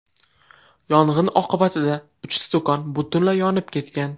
Yong‘in oqibatida uchta do‘kon butunlay yonib ketgan.